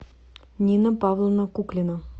нина павловна куклина